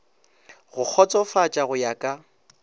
go kgotsofatša go ya ka